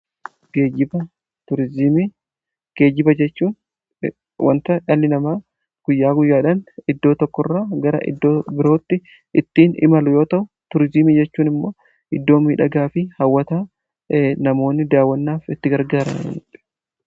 Turiziimii geejjiba jechuu wanta dhalli namaa guyyaa guyyaadhan iddoo tokko irra gara iddoo birootti ittiin imalu yoo ta'u tuuriiziimii jechuun immoo iddooma dhagaa fi hawata namoonni daawwannaaf gargaara.